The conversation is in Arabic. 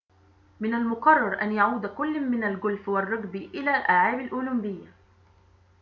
من المقرر أن يعود كل من الجولف والرجبي إلى الألعاب الأولمبية